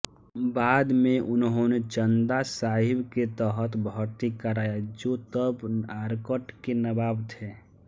बाद में उन्होंने चंदा साहिब के तहत भर्ती कराया जो तब आरकॉट के नवाब थे